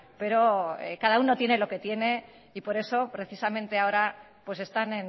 pero cada uno tiene lo que tiene y por eso precisamente ahora pues están